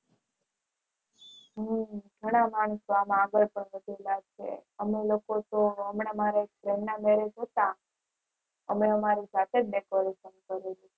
હમ ઘણા માણસો અમે લોકો તો ગામડે મારા ફઈ ના Marriage હતા અને અમારી સાથે જ